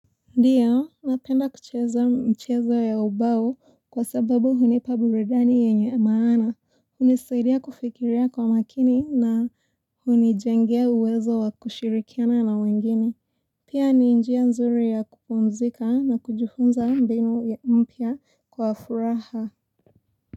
Ndiyo, napenda kucheza mchezo ya ubao kwa sababu hunipa burudani yenye maana. Hunisaidia kufikiria kwa makini na hunijengea uwezo wa kushirikiana na wengine. Pia ni njia nzuri ya kupumzika na kujifunza mbinu mpya kwa furaha.